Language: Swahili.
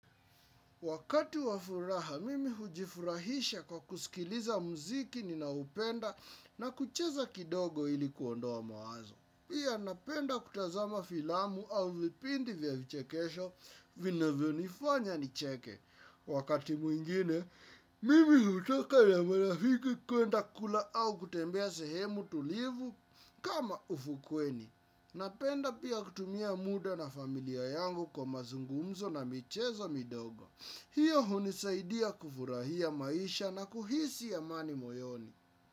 Wakati wafuraha, mimi hujifurahisha kwa kusikiliza mziki ninaupenda na kucheza kidogo ili kuondoa mawazo. Pia napenda kutazama filamu au vipindi vya vichekesho, vinavyo nifanya nicheke. Wakati mwingine, mimi hutoka na marafiki kuenda kula au kutembea sehemu tulivu kama, ufukweni. Napenda pia kutumia muda na familia yangu kwa mazungumzo na michezo midogo. Hiyo hunisaidia kufurahia maisha na kuhisi amani moyoni.